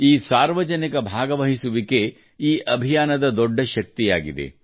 ಈ ಸಾರ್ವಜನಿಕ ಭಾಗವಹಿಸುವಿಕೆ ಈ ಅಭಿಯಾನದ ದೊಡ್ಡ ಶಕ್ತಿಯಾಗಿದೆ